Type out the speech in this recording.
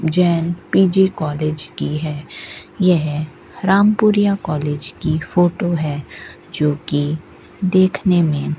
Jain PG college की है यह रामपुरिया कॉलेज की फोटो है जो की देखने में--